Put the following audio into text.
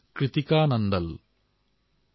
কৃতিকা হাৰিয়ানাৰ পানীপথৰ বাসিন্দা